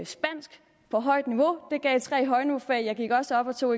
spansk på højt niveau det gav så tre højniveaufag jeg gik også op og tog